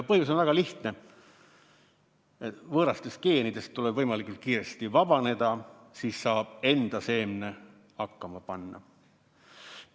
Põhjus on väga lihtne: võõrastest geenidest tuleb võimalikult kiiresti vabaneda, siis saab enda seemne hakkama panna.